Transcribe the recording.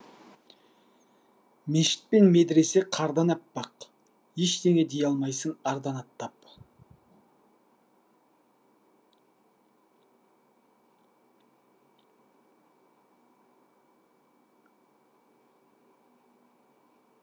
мешіт пен медіресе қардан аппақ ештеңе дей алмайсың ардан аттап